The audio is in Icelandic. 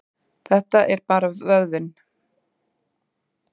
Þetta er bara vöðvinn.